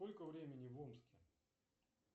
сколько времени в омске